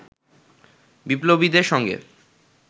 বিপ্লবীদের সঙ্গে